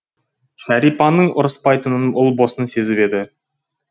шәрипаның ұрыспайтынын ұлбосын сезіп еді